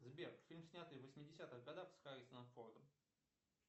сбер фильм снятый в восьмидесятых годах с харрисоном фордом